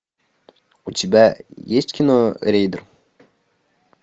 у тебя есть кино рейдер